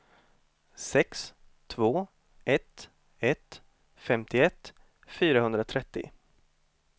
sex två ett ett femtioett fyrahundratrettio